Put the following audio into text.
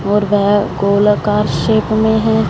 और वह गोलाकार शेप में है।